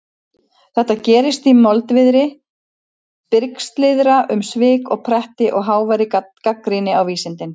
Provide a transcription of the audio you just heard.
Þetta gerist í moldviðri brigslyrða um svik og pretti og háværri gagnrýni á vísindin.